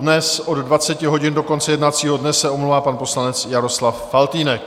Dnes od 20 hodin do konce jednacího dne se omlouvá pan poslanec Jaroslav Faltýnek.